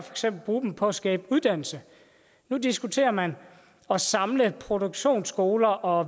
bruge dem på at skabe uddannelse nu diskuterer man at samle produktionsskoler og